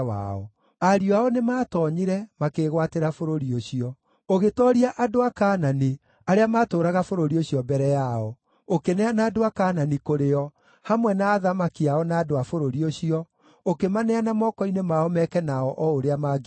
Ariũ ao nĩmatoonyire, makĩĩgwatĩra bũrũri ũcio. Ũgĩtooria andũ a Kaanani arĩa maatũũraga bũrũri ũcio mbere yao; ũkĩneana andũ a Kaanani kũrĩ o, hamwe na athamaki ao na andũ a bũrũri ũcio, ũkĩmaneana moko-inĩ mao meke nao o ũrĩa mangĩendire.